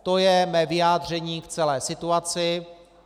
To je mé vyjádření k celé situaci.